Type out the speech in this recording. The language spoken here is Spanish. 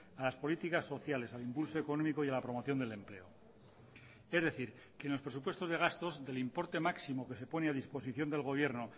a las políticas sociales al impulso económico y a la promoción del empleo es decir que en los presupuestos de gastos del importe máximo que se pone a disposición del gobierno